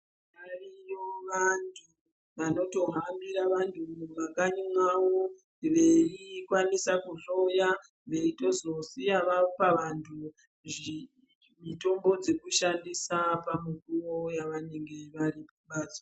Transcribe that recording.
Variyo vanthu vanotohambira vanthu mumakanyi mwao veikwanisa kuhloya veitozosiya vapa vanthu mitombo dzekushandisa pamukuwo yavanenge vari kumbatso.